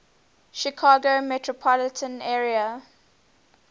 chicago metropolitan area